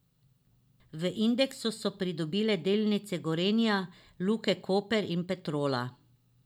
V indeksu so pridobile delnice Gorenja, Luke Koper in Petrola.